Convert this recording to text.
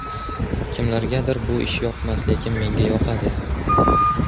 Kimlargadir bu ish yoqmas, lekin menga yoqadi.